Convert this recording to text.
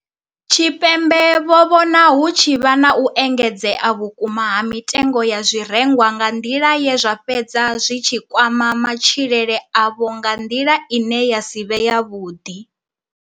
Tshipembe vho vhona hu tshi vha na u engedzea vhukuma ha mitengo ya zwirengwa nga nḓila ye zwa fhedza zwi tshi kwama matshilele avho nga nḓila ine ya si vhe yavhuḓi.